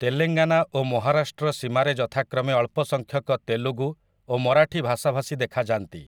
ତେଲେଙ୍ଗାନା ଓ ମହାରାଷ୍ଟ୍ର ସୀମାରେ ଯଥାକ୍ରମେ ଅଳ୍ପସଂଖ୍ୟକ ତେଲୁଗୁ ଓ ମରାଠୀ ଭାଷାଭାଷୀ ଦେଖାଯାନ୍ତି ।